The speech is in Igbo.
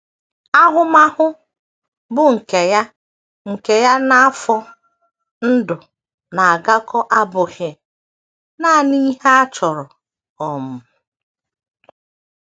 Ahụmahụ, bụ́ nke ya nke ya na afọ ndụ na - agakọ, abụghị nanị ihe a chọrọ um.